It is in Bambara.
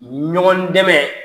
Ɲɔgɔn dɛmɛ